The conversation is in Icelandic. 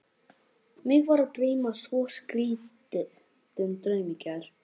Mig var að dreyma svo skrýtinn draum í gær.